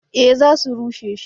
Eh za su rushe shi